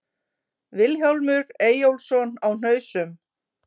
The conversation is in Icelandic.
Vilhjálmur Eyjólfsson á Hnausum